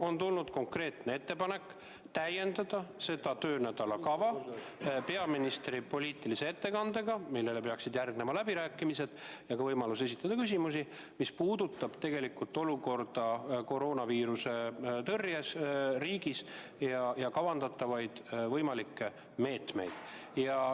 On tulnud konkreetne ettepanek täiendada selle töönädala päevakorda peaministri poliitilise ettekandega, millele peaksid järgnema läbirääkimised ja ka võimalus esitada küsimusi, mis puudutavad olukorda koroonaviiruse tõrjel riigis ja kavandatavaid meetmeid.